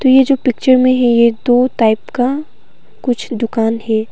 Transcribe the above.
ये जो पिक्चर में है यह दो टाइप का कुछ दुकान है।